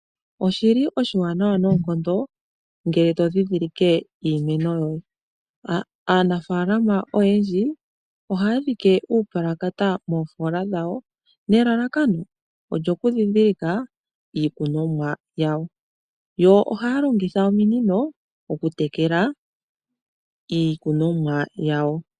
Oshili oshiwanawa noonkondo ngele tondhindhilike iinima yoye. Aanafalama oyendji ohaya dhike uupulakata moofola dhawo, nelalakano olyokundhindhilika iikunomwa yawo, yo ohaya longitha ominino okutekela iikunomwa yawo.